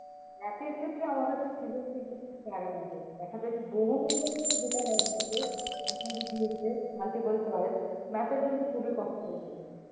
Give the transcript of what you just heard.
Math এর ক্ষেত্রে আমার কাছে সৃজনশীলতা খুব প্যারা লাগে, দেখা যায় যে জন্য যেটা হয় math এ, বৃদ্ধি হচ্ছে multiple choice, math এর জন্য খুবই কষ্টকর হয়ে যায়।